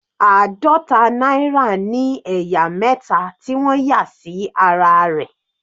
Àádọta náírà ní ẹ̀yà mẹta tí wọ́n yà sí ara rẹ̀.